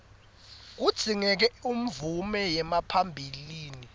kudzingeka umvume yaphambilini